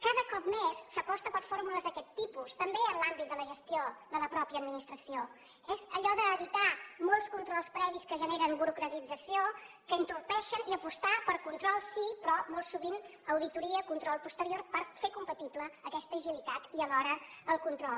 cada cop més s’aposta per fórmules d’aquest tipus també en l’àmbit de la gestió de la mateixa administració és allò d’evitar molts controls previs que generen burocratització que entorpeixen i apostar per control sí però molt sovint auditoria control posterior per fer compatible aquesta agilitat i alhora el control